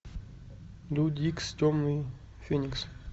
люди икс темный феникс